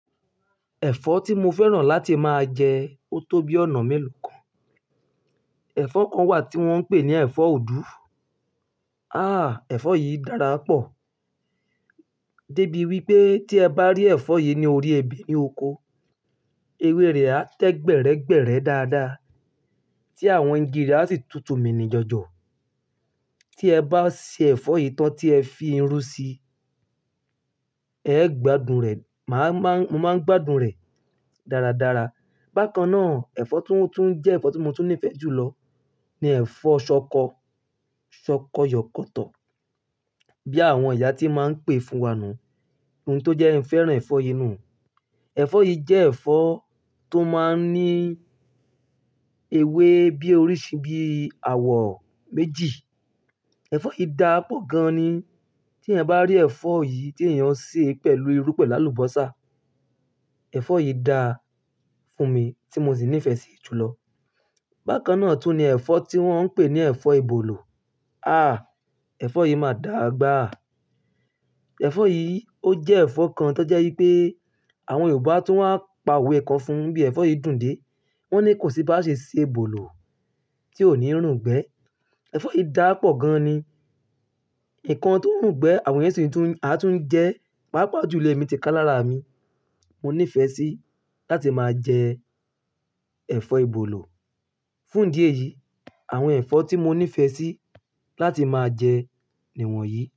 Ẹ̀fọ́ tí mo fẹ́ràn láti máa jẹ ó tó bí ọ̀nà mélòó kan. Ẹ̀fọ́ kan wà tí wọ́n ń pè ní ẹ̀fọ́ ọ̀dú. Àà ẹ̀fọ́ yìí dára pọ̀. Débi wípé tí ẹ bá rí ẹ̀fọ́ yìí ní orí ẹbe ní oko, ewé rẹ̀ á tẹ gbẹ̀rẹ́ gbẹ̀rẹ́ dáadáa, tí àwọn igi rẹ̀ á sì tutù mí ní jọjọ. Tí ẹ bá se ẹ̀fọ́ yìí tán tí ẹ fi irú sí, ẹ gbádùn rẹ̀, mo máa ń gbádùn rẹ̀ dáradára. Bákan náà ẹ̀fọ́ to jẹ́ ẹ̀fọ́ tí mo tún nífẹ̀ẹ́ jù lọ ni ẹ̀fọ́ ṣọkọ, ṣọkọ yọkọ́tọ̀ bí àwọn ìyá ti máa ń pè fún wa nù. Ohun tó jẹ́ n fẹ́ràn ẹ̀fọ́ yìí nù. Ẹ̀fọ́ yìí jẹ́ ẹ̀fọ́ tó máa ń ní ewé bí orísìí bí i àwọ̀ méjì. Ẹ̀fọ́ yí dàpọ̀ gan ni tí ẹ bá rí ẹ̀fọ́ yìí tí èèyàn ṣe pẹ̀lú irú pẹ̀lú àlùbọ́sà, ẹ̀fọ́ yìí dà fún mi tí mo sì nífẹ̀ẹ́ sí i jùlọ. Bákan náà tún ní ẹ̀fọ́ tí wọ́n ń pè ní ẹ̀fọ́ ìbòlù. Àà ẹ̀fọ́ yìí máa dàa gbà. Ẹ̀fọ́ yìí ó jẹ́ ẹ̀fọ́ kan tó jẹ́ wípé àwọn Yorùbá tún máa ń pa òwe ẹ̀kọ́ fún bí ẹ̀fọ́ yìí dùn dé. Wọ́n ní kò sí bá ṣe se èbòlù tí ò ní rungbẹ̀. Ẹ̀fọ́ yìí dà pọ̀ gan ni. Ǹkan tó rungbẹ̀ àwọn èèyàn sì tún, a sì tún jẹ́, pàápàá jùlọ èmi ti kán lára mi. Mo nífẹ̀ẹ́ sí láti máa jẹ ẹ̀fọ́ ìbòlù. Fún ìdí èyìí, àwọn ẹ̀fọ́ tí mo nífẹ̀ẹ́ sí láti máa jẹ ni wọ̀nyí.